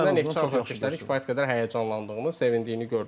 Əksinə Neftçi azarkeşlərinin kifayət qədər həyəcanlandığını, sevindiyini gördüm.